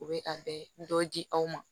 U bɛ a bɛ dɔ di aw ma